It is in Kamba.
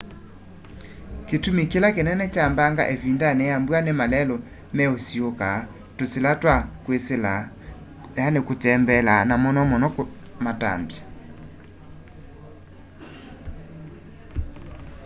kitumi kila kinene kya mbanga ivindani ya mbua ni malelu meusiiuuka tusila twa kwisila kutembeela na muno muno matambya